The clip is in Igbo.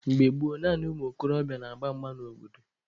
Mgbe gboo, naanị ụmụ okorobịa na-agba mgba n'obodo.